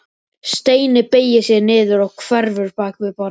Steini beygir sig niður og hverfur bak við borðið.